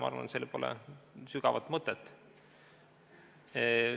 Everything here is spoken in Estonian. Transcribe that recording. Ma arvan, et sellel poleks sügavat mõtet.